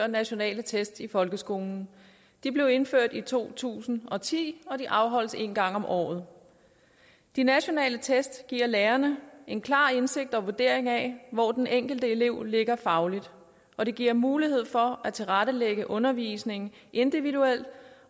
nationale test i folkeskolen de blev indført i to tusind og ti og de afholdes en gang om året de nationale test giver lærerne en klar indsigt i og vurdering af hvor den enkelte elev ligger fagligt og det giver mulighed for at tilrettelægge undervisningen individuelt